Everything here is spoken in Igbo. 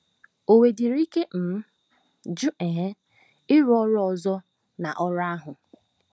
O nwedịrị ike um jụ um ịrụ ọrụ ọzọ na ọrụ ahụ!